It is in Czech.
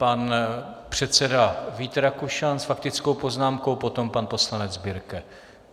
Pan předseda Vít Rakušan s faktickou poznámkou, potom pan poslanec Birke.